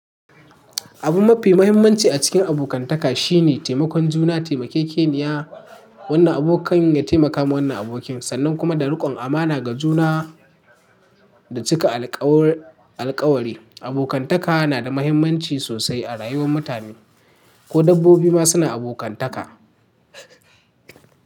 Abu mafi muhimmanci a cikin abokantaka shine taimakon juna, taimakekeniya, wannan abokan ya taimaka wa wannan abokin, sannan kuma da riƙon amana ga juna da cika alkawari. Abokantaka na da muhimmanci sosai a rayuwar mutane, ko dabbobi ma suna abokantaka.